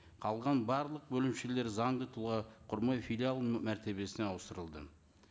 қалған барлық бөлімшелері заңды тұлға құрмай филиал мәртебесіне ауыстырылды